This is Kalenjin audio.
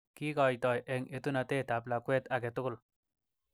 Kikoitoi eng etunotet ab lakwet age tugul.